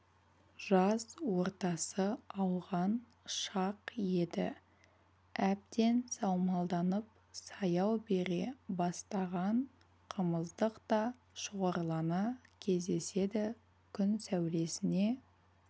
жаз ортасы ауған шақ еді әбден саумалданып саяу бере бастаған қымыздық та шоғырлана кездеседі күн сәулесіне